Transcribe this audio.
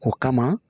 O kama